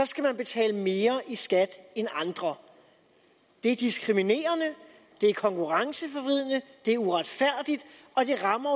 skal man betale mere i skat end andre det er diskriminerende det er konkurrenceforvridende det er uretfærdigt og det rammer